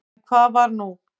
En hvað var nú?